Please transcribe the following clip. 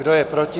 Kdo je proti?